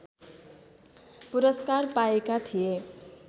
पुरस्कार पाएका थिए